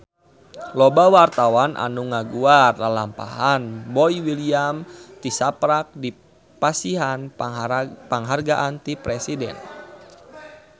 Loba wartawan anu ngaguar lalampahan Boy William tisaprak dipasihan panghargaan ti Presiden